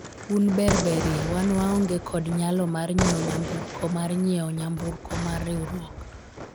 un ber berie , wan waonge kod nyalo mar nyiewo nyamburko mar nyiewo nyamburko mar riwruok